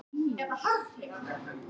Mynd: Emilía Dagný Sveinbjörnsdóttir.